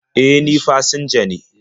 E, ni fasinja ne..